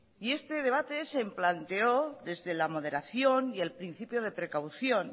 y este debate se planteó desde la moderación y el principio de precaución